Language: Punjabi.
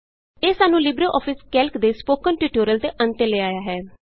ਇਹ ਸਾਨੂੰ ਲਿਬਰੇਆਫਿਸ ਕੈਲਕ ਦੇ ਸਪੋਕਨ ਟਿਯੂਟੋਰਿਅਲ ਦੇ ਅੰਤ ਤੇ ਲੈ ਆਇਆ ਹੈ